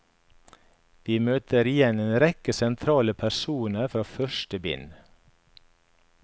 Vi møter igjen en rekke sentrale personer fra første bind.